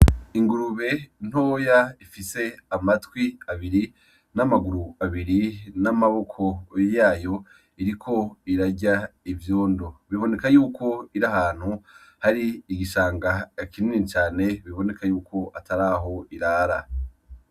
Ingurube intoya ifise amatwi abiri n'amaguru abiri n'amaboko yayo iriko irarya ivyondo biboneka yuko iri ahantu hari igishanga kininii cane biboneka yuko atari aho irara.